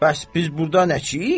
Bəs biz burda nəçiyik?